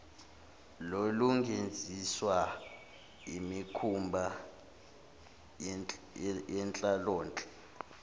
lokungenziswa imikhuba yenhlalonhle